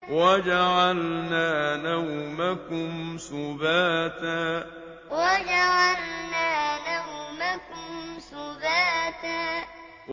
وَجَعَلْنَا نَوْمَكُمْ سُبَاتًا وَجَعَلْنَا نَوْمَكُمْ سُبَاتًا